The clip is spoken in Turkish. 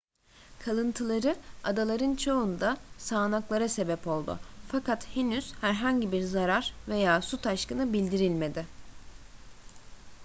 kalıntıları adaların çoğunda sağanaklara sebep oldu fakat henüz herhangi bir zarar veya su taşkını bildirilmedi